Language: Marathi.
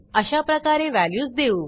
अशाप्रकारे व्हॅल्यूज देऊ